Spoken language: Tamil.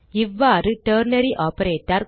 இவ்வாறு டெர்னரி ஆப்பரேட்டர்